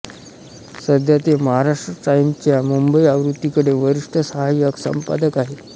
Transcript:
सध्या ते महाराष्ट्र टाइम्सच्या मुंबई आवृत्तीकडे वरिष्ठ सहाय्यक संपादक आहेत